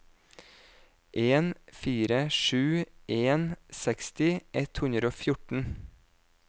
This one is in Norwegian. en fire sju en seksti ett hundre og fjorten